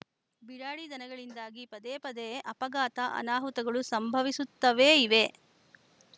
ಬಿಡಾಡಿ ದನಗಳಿಂದಾಗಿ ಪದೇಪದೇ ಅಪಘಾತ ಅನಾಹುತಗಳು ಸಂಭವಿಸುತ್ತವೇ ಇವೆ